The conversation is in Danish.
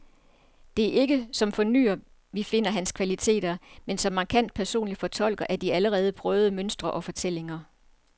Det er ikke som fornyer, vi finder hans kvaliteter, men som markant personlig fortolker af de allerede prøvede mønstre og fortællinger.